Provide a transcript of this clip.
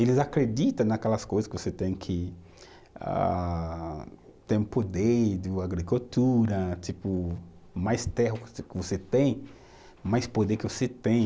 Eles acreditam naquelas coisas que você tem que ah, ter o poder da agricultura, tipo, mais terra que você tem, mais poder que você tem.